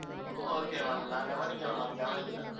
okay ma'am நான் கவனிக்கல ma'am, கவனிக்கல.